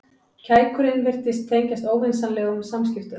Kækurinn virtist tengjast óvinsamlegum samskiptum.